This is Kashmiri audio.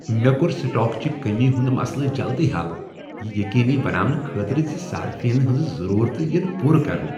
مےٚ کوٚر سٹاک چہ کٔمی ہنٛد مسلہٕ جلدی حل، یہ یقینی بناونہٕ خٲطرٕ ز صارفینن ہنٛزٕ ضروٗرتہٕ ین پورٕ کرنہٕ۔